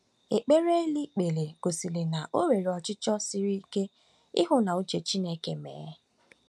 Ekpere eli kpere gosiri na o nwere ọchịchọ siri ike ịhụ ka uche Chineke mee